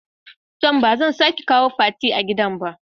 toh bazan sake kawo Fati a gidan ba.